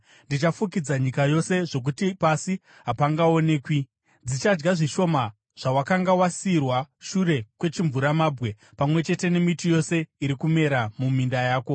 Dzichafukidza nyika yose zvokuti pasi hapangaonekwi. Dzichadya zvishoma zvawakanga wasiyirwa shure kwechimvuramabwe, pamwe chete nemiti yose iri kumera muminda yako.